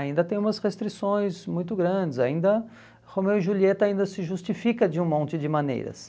Ainda tem umas restrições muito grandes, ainda Romeu e Julieta ainda se justifica de um monte de maneiras.